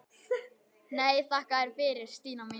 Nei, þakka þér fyrir Stína mín.